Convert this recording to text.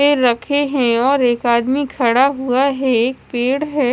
रखे है और एक आदमी खड़ा हुआ है एक पेड़ है।